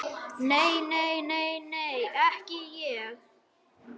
Nei, nei, nei, nei, ekki ég.